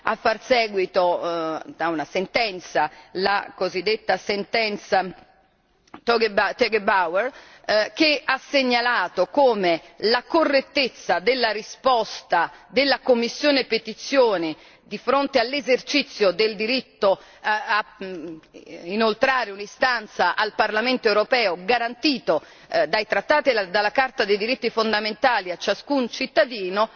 A far seguito da una sentenza, la cosiddetta sentenza Tegebauer cha ha segnalato come la correttezza della risposta della commissione per le petizioni di fronte al diritto di inoltrare un'istanza al Parlamento europeo, garantito dai trattati e dalla Carta dei diritti fondamentali a ciascun cittadino,